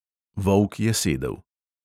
Volk je sedel.